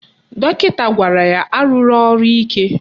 Dọkịta gwara ya arụla ọrụ ike